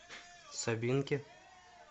собинке